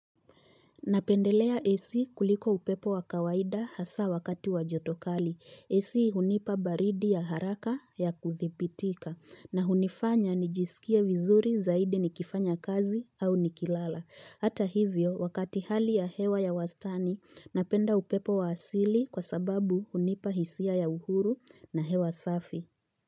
Napendelea AC kuliko upepo wa kawaida hasa wakati wa joto kali. AC hunipa baridi ya haraka ya kudhibitika na hunifanya nijisikie vizuri zaidi nikifanya kazi au nikilala. Hata hivyo wakati hali ya hewa ya wastani napenda upepo wa asili kwa sababu hunipa hisia ya uhuru na hewa safi.